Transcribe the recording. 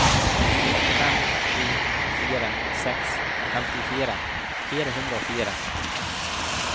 fem sju fire seks femtifire fire hundre og fire